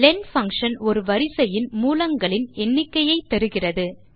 len function ஒரு வரிசையின் மூலங்களின் எண்ணிக்கையை தருகிறது